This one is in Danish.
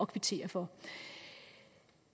kvittere for